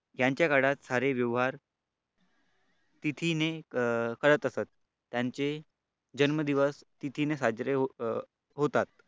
यांच्या काळात सारे व्यवहार तिथीने करत असत त्यांचे जन्मदिवस तिथीने साजरे होतात.